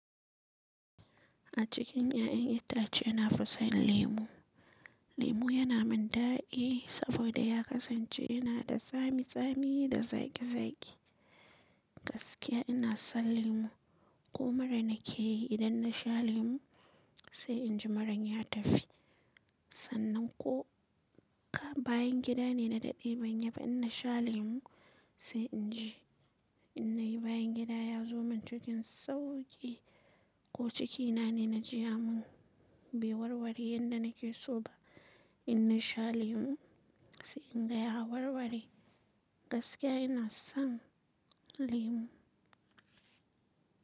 A cikin 'ya'yan itace ina fusan lemu. Lemu yana min daɗi saboda ya kasance yana da tsami tsami da zaƙi zaƙi. Gaskiya ina son lemu. Ko mura na ke yi idan na sha lemu sai inji maran ya tafi. Sannan ko ka bayan gida ne na daɗe ban yiba inna sha lemu sai inji inna yi bayan gida ya zo min cikin sauƙi ko cikina ne na ji ya mun bai warware yanda nake so ba. Ina sha lemu sai in ga ya warware. Gaskiya ina son lemu.